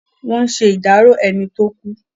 Wọ́n ṣe ìdárò ẹni tó kú.